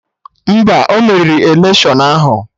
Mba, ọ merirọ electiọnụ ahụ